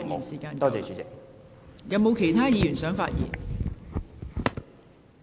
是否有其他議員想發言？